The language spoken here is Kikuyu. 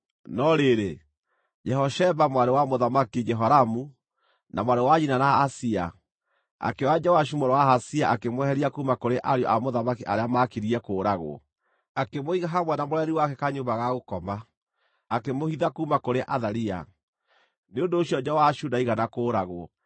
No rĩrĩ, Jehosheba, mwarĩ wa Mũthamaki Jehoramu na mwarĩ wa nyina na Ahazia, akĩoya Joashu mũrũ wa Ahazia akĩmweheria kuuma kũrĩ ariũ a mũthamaki arĩa maakirie kũũragwo. Akĩmũiga hamwe na mũreri wake kanyũmba ga gũkoma, akĩmũhitha kuuma kũrĩ Athalia; nĩ ũndũ ũcio Joashu ndaigana kũũragwo.